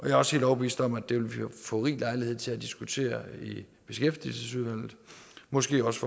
er også helt overbevist om at det vil vi få rig lejlighed til at diskutere i beskæftigelsesudvalget måske også